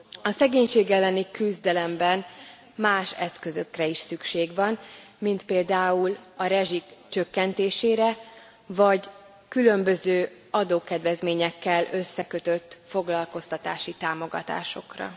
A szegénység elleni küzdelemben más eszközökre is szükség van, mint például a rezsi csökkentésére vagy különböző adókedvezményekkel összekötött foglalkoztatási támogatásokra.